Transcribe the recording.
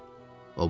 O bağırdı.